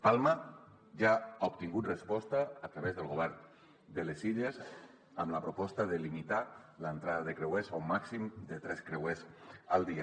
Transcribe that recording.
palma ja ha obtingut resposta a través del govern de les illes amb la proposta de limitar l’entrada de creuers a un màxim de tres creuers al dia